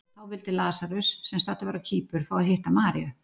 Þá vildi Lasarus, sem staddur var á Kýpur, fá að hitta Maríu.